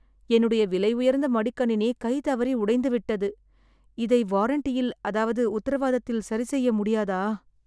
என்னுடைய விலை உயர்ந்த மடிக்கணினி கைதவறி உடைந்து விட்டது. இதை வாரென்டியில் அதாவது உத்திரவாதத்தில் சரி செய்ய முடியாதா ?